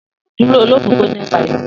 Duro olofofo nipa eniyan!